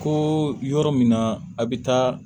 Ko yɔrɔ min na a bɛ taa